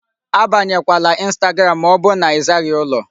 Abanyekwala Instagram ma ọ bụ na ị zaghị ụlọ.